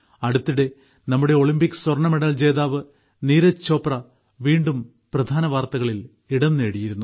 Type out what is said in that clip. അടുത്തിടെ നമ്മുടെ ഒളിമ്പിക് സ്വർണ്ണമെഡൽ ജേതാവ് നീരജ് ചോപ്ര വീണ്ടും പ്രധാനവാർത്തകളിൽ ഇടം നേടിയിരുന്നു